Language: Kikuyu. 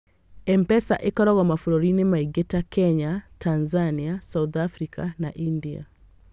M-Pesa ĩkoragwo mabũrũri-inĩ maingĩ, ta Kenya, Tanzania, South Africa, na India.